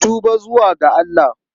Ku tuba zuwa ga Allah!